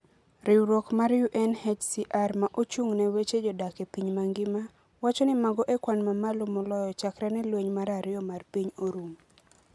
Riwruok mar UNHCR ma ochung' ne weche jodak e piny mangima, wacho ni mago e kwan mamalo moloyo, chakre ne Lweny mar Ariyo mar Piny orum.